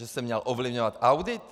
Že jsem měl ovlivňovat audit?